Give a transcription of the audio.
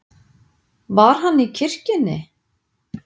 Var hann í kirkjunni?